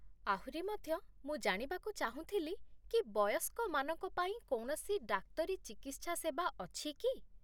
ଆହୁରି ମଧ୍ୟ, ମୁଁ ଜାଣିବାକୁ ଚାହୁଁଥିଲି କି ବୟସ୍କମାନଙ୍କ ପାଇଁ କୌଣସି ଡାକ୍ତରୀ ଚିକିତ୍ସା ସେବା ଅଛି କି?